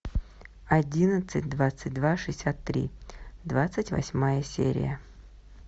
одиннадцать двадцать два шестьдесят три двадцать восьмая серия